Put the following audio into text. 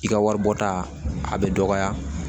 I ka wari bɔ ta a bɛ dɔgɔya